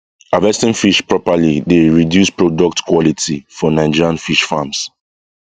harvesting fish properly dey reduce products quality for nigerian fish farms